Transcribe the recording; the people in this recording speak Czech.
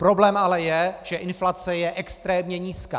Problém ale je, že inflace je extrémně nízká.